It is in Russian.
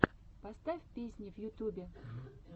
поставь песни в ютьюбе